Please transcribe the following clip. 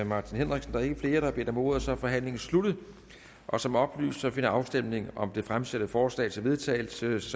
martin henriksen der er ikke flere der har bedt om ordet så er forhandlingen sluttet og som oplyst finder afstemningen om det fremsatte forslag til vedtagelse